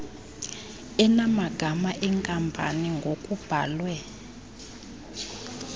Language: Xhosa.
enamagama enkampani ngokubhalwe